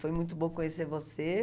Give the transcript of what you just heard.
Foi muito bom conhecer você.